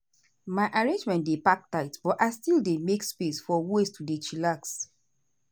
my arrangement dey pack tight but i still dey make space for ways to dey chillax.